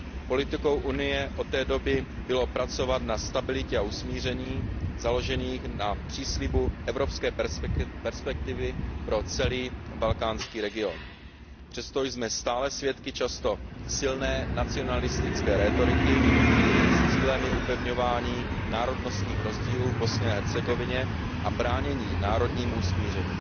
Politikou Unie od té doby bylo pracovat na stabilitě a usmíření založených na příslibu evropské perspektivy pro celý balkánský region. Přesto jsme stále svědky často silné nacionalistické rétoriky, jejímž cílem je upevňování národnostních rozdílů v Bosně a Hercegovině a bránění národnímu usmíření.